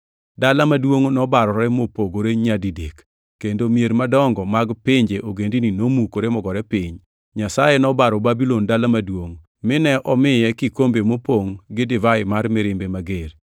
Dala maduongʼ nobarore mopogore nyadidek kendo mier madongo mag pinje ogendini nomukore mogore piny. Nyasaye noparo Babulon dala maduongʼ, mine omiye kikombe mopongʼ gi divai mar mirimbe mager.